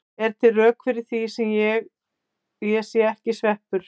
Eru til rök fyrir því að ég sé ekki sveppur?